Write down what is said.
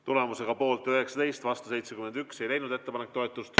Tulemusega poolt 19, vastu 71 ei leidnud ettepanek toetust.